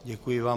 Děkuji vám.